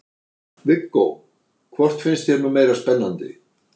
Viggó: Hvort finnst þér nú meira spennandi?